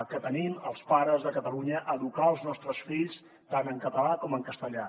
que tenim els pares de catalunya a educar els nostres fills tant en català com en castellà